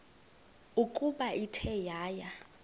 ukuba ithe yaya